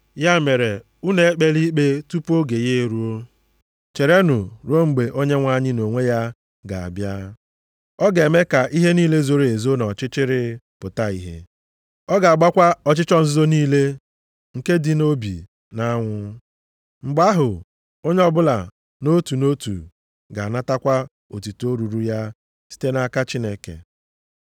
Ya mere, unu ekpela ikpe tupu oge ya eruo, cherenụ ruo mgbe Onyenwe anyị nʼonwe ya ga-abịa. Ọ ga-eme ka ihe niile zoro ezo nʼọchịchịrị pụta ìhè. Ọ ga-agbakwa ọchịchọ nzuzo niile nke dị nʼobi nʼanwụ. Mgbe ahụ, onye ọbụla nʼotu nʼotu ga-anatakwa otuto ruuru ya site nʼaka Chineke.